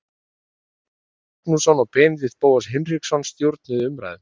Elvar Geir Magnússon og Benedikt Bóas Hinriksson stjórnuðu umræðum.